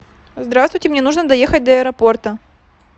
здравствуйте мне нужно доехать до аэропорта